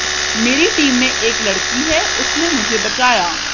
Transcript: मेरी टीम में एक लड़की है उसने मुझे बचाया